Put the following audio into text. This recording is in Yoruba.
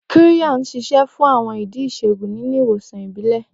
Qirya ń ṣiṣẹ́ fún àwọn ìdí ìṣègùn nínú ìwòsàn ìbílẹ̀.